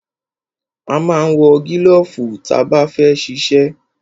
A ma ń wọ gílọ̀fù ta bá fẹ́ ṣiṣẹ́.